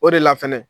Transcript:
O de la fɛnɛ